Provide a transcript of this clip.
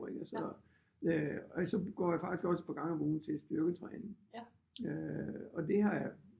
Og så går jeg faktisk også et par gange om ugen til styrketræning øh og det har jeg